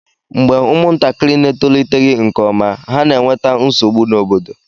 mgbe ụmụntakịrị na-etoliteghị nke ọma, ha na-enweta nsogbu n'obodo